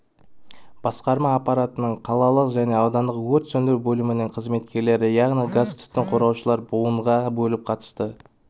басқарма аппаратының қалалық және аудандық өрт сөндіру бөлімдерінің қызметкерлері яғни газтүтіннен қорғаушылар буынға бөлініп қатысты